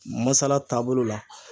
Masala taabolo la.